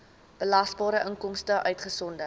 belasbare inkomste uitgesonderd